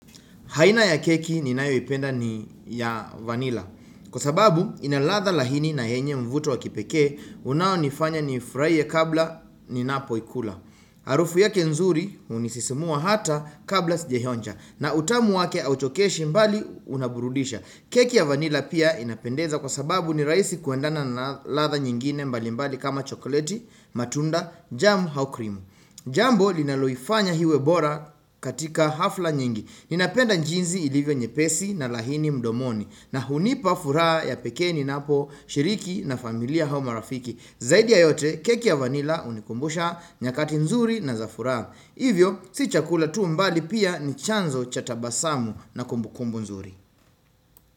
Aina ya keki ninayoipenda ni ya vanila kwa sababu ina ladha laini na yenye mvuto wa kipekee unaonifanya nifurahie kabla ninapoila Harufu yake nzuri hunisisimua hata kabla sijaionja, na utamu wake hauchokeshi mbali unaburudisha. Keki ya vanila pia inapendeza kwa sababu ni rahisi kuendana na ladha nyingine mbali mbali kama chokleti, matunda, jamu, au krimu Jambo linaloifanya iwe bora katika hafla nyingi, ninapenda jinsi ilivyo nyepesi na laini mdomoni, na hunipa furaha ya pekee ninaposhiriki na familia au marafiki. Zaidi ya yote keki ya vanila hunikumbusha nyakati nzuri na za furaha. Hivyo si chakula tu bali pia ni chanzo cha tabasamu na kumbu kumbu nzuri.